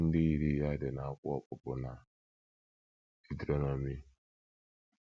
Iwu ndị yiri ya dị n’akwụkwọ Ọpụpụ na Deuterọnọmi.